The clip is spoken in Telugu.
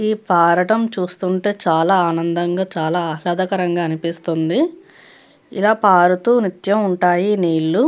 ఈ పారాటం చూస్తుంటే చాలా ఆనందంగా చాలా ఆహ్లాదకరంగా అనిపిస్తుంది. ఇలా పారుతూ నిత్యం ఉంటాయి నీళ్లు.